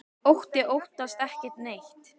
Otti óttast ekki neitt!